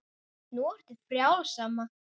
Nú ertu frjáls, amma.